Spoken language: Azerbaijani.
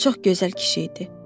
Çox gözəl kişi idi.